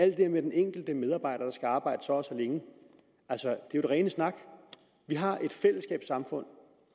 det her med at den enkelte medarbejder skal arbejde så og så længe er jo det rene snak vi har et fællesskabssamfund